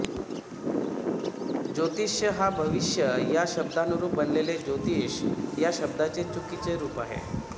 ज्योतिष्य हा भविष्य या शब्दानुरूप बनलेले ज्योतिष या शब्दाचे चुकीचे रूप आहे